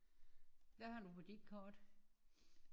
Hvad har du på dit kort?